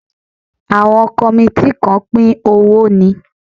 Àwọn kọmití kàn pín owó ni